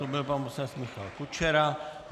To byl pan poslanec Michal Kučera.